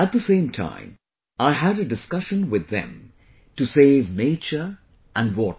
At the same time, I had a discussion with them to save nature and water